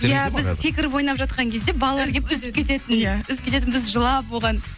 иә біз секіріп ойнап жатқан кезде балалар келіп үзіп кететін иә үзіп кететін біз жылап оған